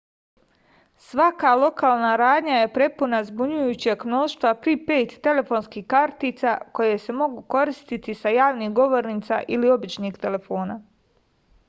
svaka lokalna radnja je prepuna zbunjujućeg mnoštva pripejd telefonskih kartica koje se mogu koristiti sa javnih govornica ili običnih telefona